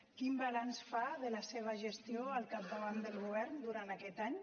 quin balanç fa de la seva gestió al capdavant del govern durant aquest any